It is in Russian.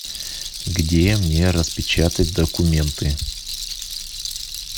где мне распечатать документы